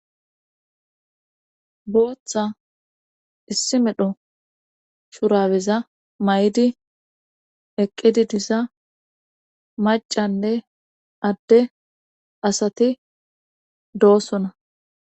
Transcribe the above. Booththa issi medho shurabeza may'di eqqidi diza macanne adde asati doossona.